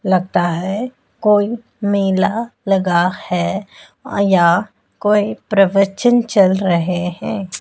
लगता है कोई मेला लगा है यहां कोई प्रवचन चल रहे हैं।